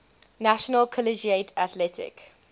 national collegiate athletic